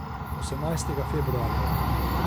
Osemnajstega februarja je bilo.